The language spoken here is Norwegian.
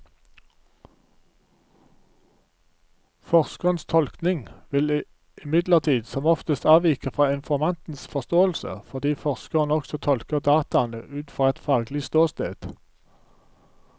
Forskerens tolkning vil imidlertid som oftest avvike fra informantens forståelse, fordi forskeren også tolker dataene ut fra et faglig ståsted.